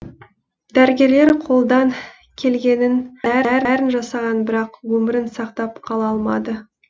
дәрігерлер қолдан келгеннің бәрін жасаған бірақ өмірін сақтап қала алмады